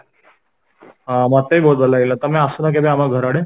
ହଁ ମତେ ବି ବହୁତ ଭଲ ଲାଗିଲା, ତମେ ଅଶୁଂ କେଭେ ଆମ ଘର ଆଡେ